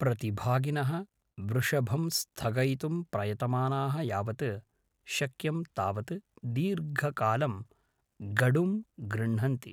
प्रतिभागिनः वृषभं स्थगयितुं प्रयतमानाः यावत् शक्यं तावत् दीर्घकालं गडुं गृह्णन्ति।